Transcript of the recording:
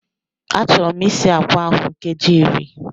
Achọrọ m isi akwa ahụ nkeji iri